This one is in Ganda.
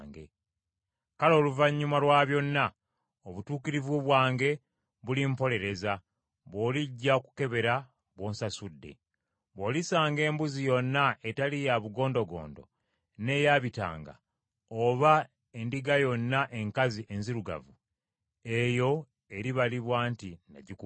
Kale oluvannyuma lwa byonna obutuukirivu bwange bulimpolereza bw’olijja okukebera bw’onsasudde. Bw’olisanga embuzi yonna etali ya bugondogondo n’eya bitanga, oba endiga yonna enkazi enzirugavu eyo eribalibwa nti nnagikubbako.”